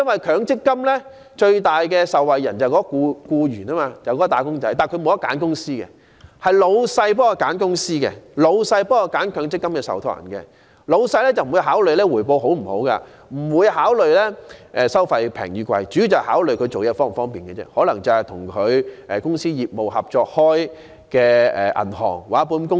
強積金最大的受惠人是僱員或"打工仔"，但他們不能選擇強積金受託人，而是老闆代他們選擇的，而老闆是不會考慮回報好壞及收費高低，主要考慮是處理僱員強積金的工作是否方便而已。